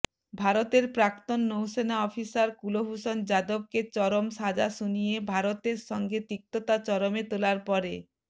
ভারতের প্রাক্তন নৌসেনা অফিসার কুলভূষণ যাদবকে চরম সাজা শুনিয়ে ভারতের সঙ্গে তিক্ততা চরমে তোলার পরে